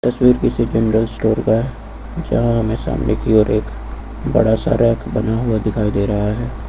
तस्वीर किसी general store का है जहां हमें सामने की ओर एक बड़ा सा रैक बना हुआ दिखाई दे रहा है।